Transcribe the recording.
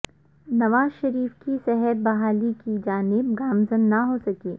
نواز شریف کی صحت بحالی کی جانب گامزن نہ ہو سکی